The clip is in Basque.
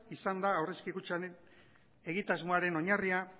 izan da aurrezki kutxaren egitasmoaren oinarria